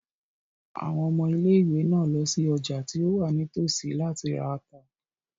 Àwọn ọmọ ilé-ìwé náà lọ sí ọjà tí ó wà ní tòsí láti ra ata.